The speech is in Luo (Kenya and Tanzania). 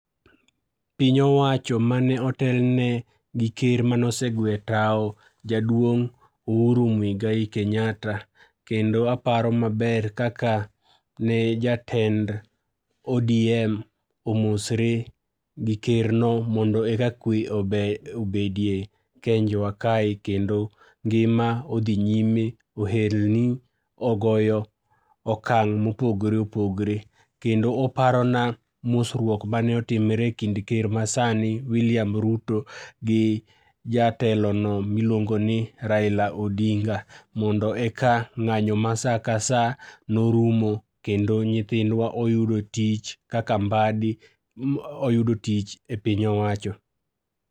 Piny owacho mane otelne gi ker mane ose gwe tao jaduong' Uhuru Muigai Kenyatta, kendo aparo maber kaka ne jatend ODM omosre gi kerno mondo eka kwe obe obedie e Kenjwa kae kendo ngima odhi nyime, ohelni ogoyo okang' mopogore opogore. Kendo oparona mosruok mane otimre ekind ker masani William Ruto gi jatelono miluongo ni Raila odinga mondo eka ng'anyo ma saka saa norumo kendo nyithindwa oyudo tich kaka Mbadi oyudo tich e piny owacho.